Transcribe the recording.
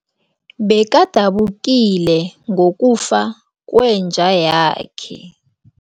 Bekadabukile ngokufa kwenja yakhe.